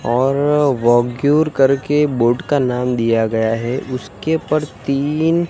और वग्योर करके बोर्ड का नाम दिया गया है उसके पर तीन--